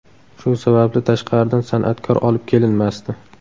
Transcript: Shu sababli tashqaridan san’atkor olib kelinmasdi.